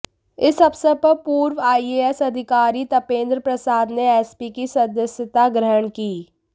इस अवसर पर पूर्व आईएएस अधिकारी तपेंद्र प्रसाद ने एसपी की सदस्यता ग्रहण की